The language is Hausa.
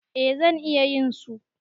Eh zan iya yin su.